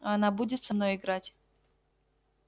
а она будет со мной играть